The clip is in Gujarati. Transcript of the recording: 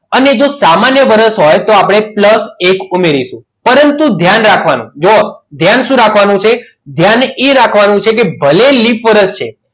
અને જો સામાન્ય વર્ષ હોય તો આપણે plus એક ઉમેરીશું પરંતુ ધ્યાન રાખવાનું ધ્યાન શું રાખવાનું છે ધ્યાન એ રાખવાનું છે કે ભલે લીપ વર્ષ છે.